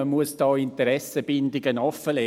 Man muss die Interessenbindungen offenlegen.